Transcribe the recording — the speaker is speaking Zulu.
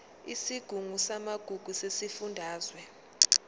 isigungu samagugu sesifundazwe